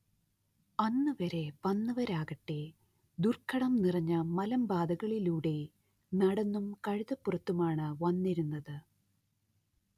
അന്നുവരെ വന്നവരാകട്ടേ ദുർഘടം നിറഞ്ഞ മലമ്പാതകളിലൂടെ നടന്നും കഴുതപ്പുറത്തുമാണ്‌ വന്നിരുന്നത്